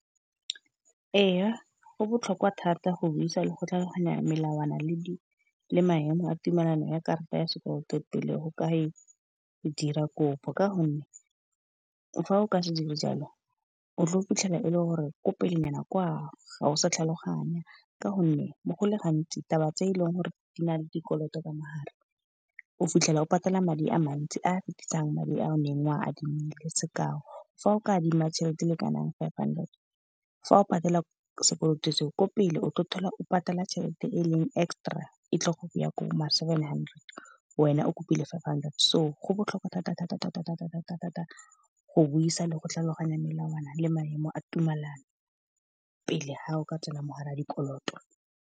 Ee, go botlhokwa thata go buisa le go tlhaloganya melawana le maemo a tumelano ya karata ya sekoloto pele go ka e dira kopo. Ka gonne fa o ka se dire jalo o tle o fitlhela e le gore ko pelenyana kwa ga o sa tlhaloganya, ka gonne go le gantsi taba tse eleng gore di na le dikoloto ka mogare. O fitlhela o patala madi a mantsi a fetisang madi a o neng o a adimile, sekao fa o ka adima tšhelete le kanang five hundred fa o patela sekoloto seo ko pele o tlo thola o patala tšhelete e leng extra, e tle go ya ko ma seven hundred, wena o kopile five hundred. So go botlhokwa thata-thata go buisa le go tlhaloganya melawana le maemo a tumelano, pele ga o ka tsena mogare ga dikoloto.